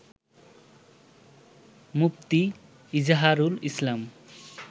মুফতি Izharul ইসলাম